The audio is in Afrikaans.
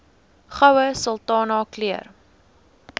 goue sultana keur